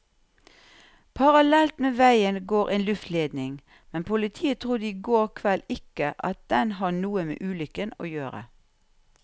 Parallelt med veien går en luftledning, men politiet trodde i går kveld ikke at den har noe med ulykken å gjøre.